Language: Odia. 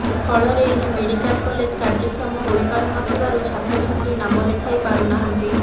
ଫଳରେ ଏହି ମେଡ଼ିକାଲ କଲେଜ କାର୍ଯ୍ୟକ୍ଷମ ହୋଇପାରୁନଥିବାରୁ ଛାତ୍ରଛାତ୍ରୀ ନାମ ଲେଖାଇ ପାରୁନାହାନ୍ତି